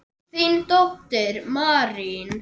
Þín dóttir, Marín.